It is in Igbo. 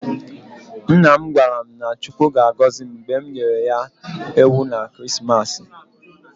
Nna m gwara m na Chineke ga-agọzi m mgbe m nyere ya ewu maka ekeresimesi.